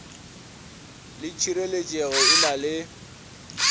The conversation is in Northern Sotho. le tšhireletšego e na le